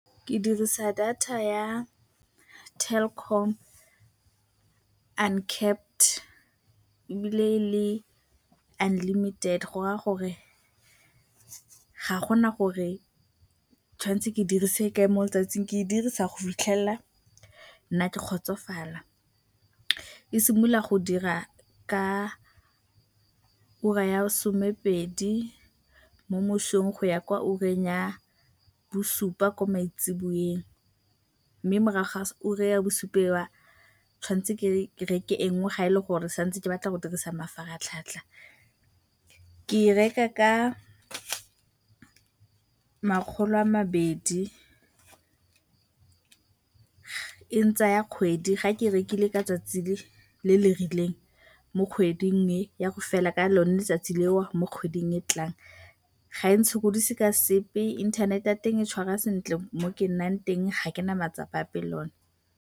Ke dirisa data ya Telkom Uncapped ebile e le unlimited go raya gore ga go na gore ke tshwantse ke e dirise ga kae mo letsatsing, ke e dirisa go fitlhelela nna ke kgotsofala. E simolola go dira ka ura ya somepedi mo mosong go ya kwa ureng ya bosupa mo maitsiboeng mme morago ga ura ya bosupa eo, ke tshwantse ke reke e nngwe fa e le gore ke sa ntse ke batla go dirisa mafaratlhatlha. Ke e reka ka makgolo a mabedi, e ntsaya kgwedi. Fa ke e rekile ka tsatsi le le rileng mo kgweding, e ya go fela ka lone letsatsi leo mo kgweding e e tlang, ga e ntshokodise ka sepe. Internet-e ya teng e tshwara sentle mo ke nnang teng, ga ke na matsapa ape le yone.